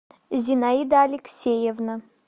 зинаида алексеевна